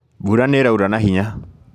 Mbura nĩĩraura na hinya